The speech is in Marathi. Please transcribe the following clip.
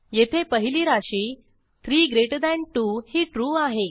येथे पहिली राशी 32 ही ट्रू आहे